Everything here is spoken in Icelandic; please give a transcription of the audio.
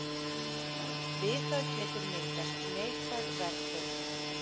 við það getur myndast neikvæð verðbólga